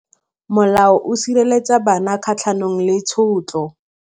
Molao o sireletsa bana kgatlhanong le tshotlo.